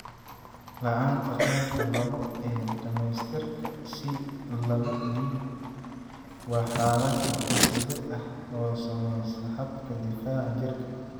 La'aanta qaybta laabo ee dhamaystirka (C laba D) waa xaalad hidde-side ah oo saamaysa habka difaaca jirka.